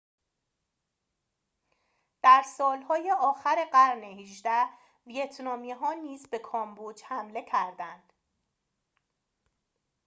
در سالهای آخر قرن ۱۸ ویتنامی ها نیز به کامبوج حمله کردند